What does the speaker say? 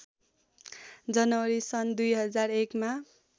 जनवरी सन् २००९ मा